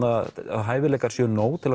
hæfileikar séu nóg til